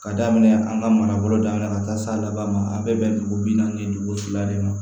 Ka daminɛ an ka manabolo daminɛ ka taa se a laban ma a bɛ bɛn dugu bi naani ni duuru si la de ma